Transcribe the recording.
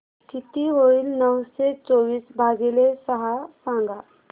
किती होईल नऊशे चोवीस भागीले सहा सांगा